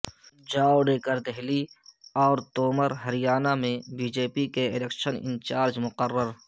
جاوڈیکر دہلی اور تومرہریانہ میں B J پی کے الیکشن انچارج مقرر